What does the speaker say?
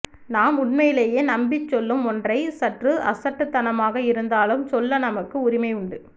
நாம் உண்மையிலேயெ நம்பிச் சொல்லும் ஒன்றை சற்று அசட்டுத்தனமாக இருந்தாலும் சொல்ல நமக்கு உரிமை உண்டு